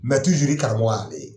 i karamɔgɔ ye ale ye.